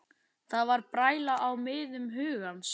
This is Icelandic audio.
Það var bræla á miðum hugans.